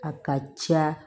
A ka ca